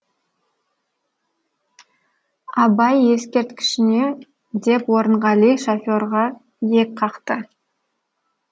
абай ескерткішіне деп орынғали шоферға иек қақты